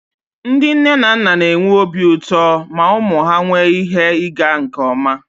Ndị nne na nna na-enwe obi ụtọ ma ụmụ ha nwee ihe ịga nke ọma